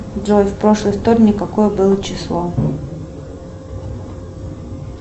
джой в прошлый вторник какое было число